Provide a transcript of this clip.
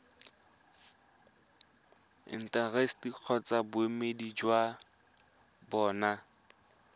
intaseteri kgotsa boemedi jwa bona